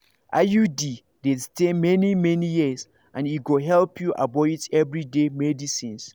iud dey stay many-many years and e go help you avoid everyday medicines.